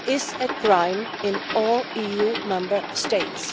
FGM is a crime in all EU Member States.